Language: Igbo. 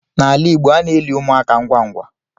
N'ala Igbo ana eli ụmụaka ngwa ngwa